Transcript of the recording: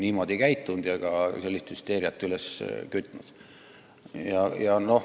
Sellist hüsteeriat pole muul puhul üles köetud.